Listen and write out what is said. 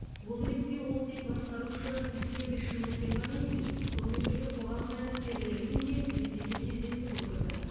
бұл ретте ол тек басқарушы истеблишментпен ғана емес сонымен бірге қоғам қайраткерлерімен де белсенді кездесіп отырды